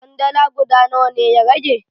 Kwandala guda nawa ne ya rage?